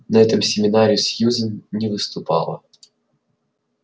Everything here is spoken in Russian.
на этом семинаре сьюзен не выступала